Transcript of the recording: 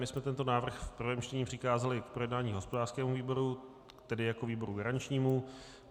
My jsme tento návrh v prvém čtení přikázali k projednání hospodářskému výboru, tedy jako výboru garančnímu.